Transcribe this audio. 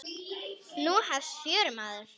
Nú hefst fjörið, maður.